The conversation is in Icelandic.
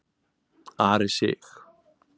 Ari Sig.